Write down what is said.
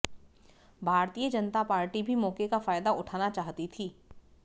भारतीय जनता पार्टी भी मौक़े का फायदा उठाना चाहती थी